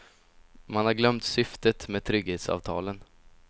Man har glömt syftet med trygghetsavtalen.